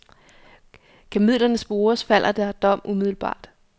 Kan midlerne spores, falder der dom umiddelbart.